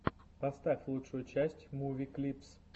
поставь лучшую часть муви клипс